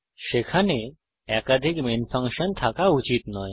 সেখানে একাধিক main function থাকা উচিত নয়